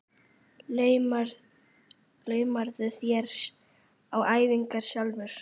Laumarðu þér á æfingar sjálfur?